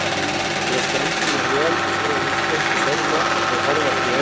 Ég skemmti mér vel, segir hún stuttu seinna og þau horfast í augu.